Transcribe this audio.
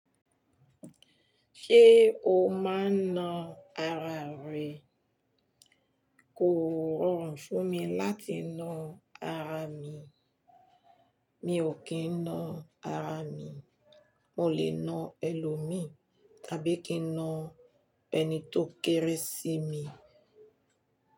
Ṣé o máa ń na ara rẹ? Kò rọrùn fún mi láti na ara mi. Mi ò kí ń na ara mi. Mo lè na ẹlòmí tàbí kí ń na ẹni tó kéré sí mi.